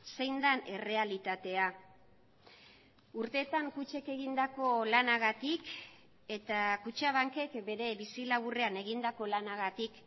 zein den errealitatea urteetan kutxek egindako lanagatik eta kutxabankek bere bizi laburrean egindako lanagatik